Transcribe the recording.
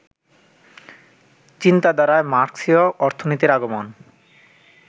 চিন্তাধারায় মার্ক্সীয় অর্থনীতির আগমন